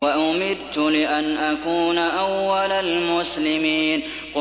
وَأُمِرْتُ لِأَنْ أَكُونَ أَوَّلَ الْمُسْلِمِينَ